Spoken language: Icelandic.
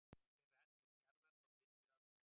Hver er radíus jarðar frá miðju að pól?